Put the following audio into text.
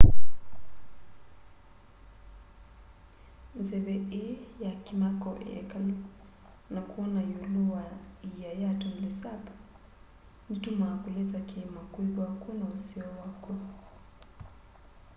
nzeve ii ya kimako ya ikalu na kwona iulu wa iia ya tonle sap nitumaa kulisa kiima kwithwa kwi na useo wakw'o